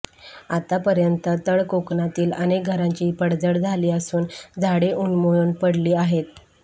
आतापर्यंत तळकोकणातील अनेक घरांची पडझड झाली असून झाडे उन्मळून पडली आहेत